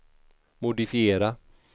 modifiera